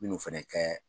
Minnu fɛnɛ kɛ